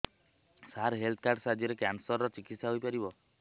ସାର health card ସାହାଯ୍ୟରେ cancer ର ଚିକିତ୍ସା ହେଇପାରିବ